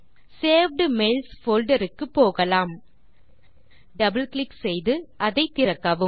saved mails folder க்கு போகலாம் double click செய்து அதை திறக்கவும்